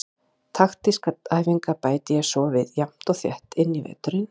Taktískar æfingar bæti ég svo við jafnt og þétt inn í veturinn.